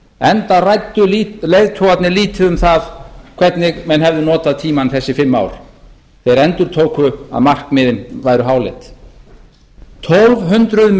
enda ræddu leiðtogarnir lítið um það hvernig menn hefðu notað tímann þessi fimm ár þegar þeir endurtóku að markmiðin væru háleit tólf hundruð